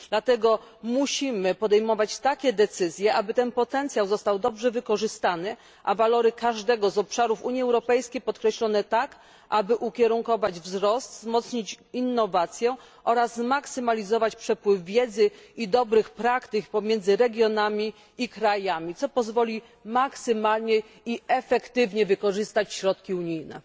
Dlatego musimy podejmować takie decyzje, aby ten potencjał został dobrze wykorzystany, a walory każdego z obszarów Unii Europejskiej podkreślone tak, aby ukierunkować wzrost, wzmocnić innowację oraz zmaksymalizować przepływ wiedzy i dobrych praktyk pomiędzy regionami i krajami, co pozwoli maksymalnie i efektywnie wykorzystać środki unijne.